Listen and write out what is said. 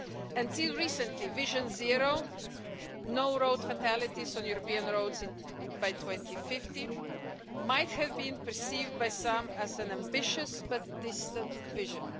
Until recently, Vision Zero no road fatalities on European roads by 2050 might have been perceived by some as an ambitious but distant vision.